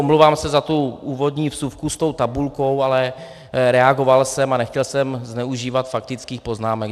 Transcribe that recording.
Omlouvám se za tu úvodní vsuvku s tou tabulkou, ale reagoval jsem a nechtěl jsem zneužívat faktických poznámek.